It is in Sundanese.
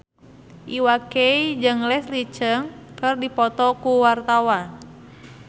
Iwa K jeung Leslie Cheung keur dipoto ku wartawan